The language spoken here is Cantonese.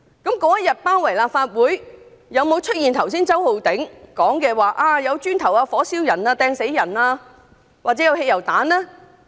當天有沒有出現周浩鼎議員剛才所說，有人擲磚、火燒人、擲磚殺人或擲汽油彈呢？